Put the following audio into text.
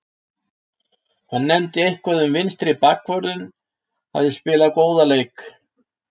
Hann nefndi eitthvað um að vinstri bakvörðurinn hafi spilað góðan leik.